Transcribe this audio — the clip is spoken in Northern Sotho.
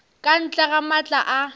ka ntle ga maatla a